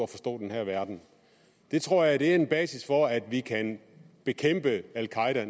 forstå den her verden det tror jeg er en basis for at vi kan bekæmpe al qaeda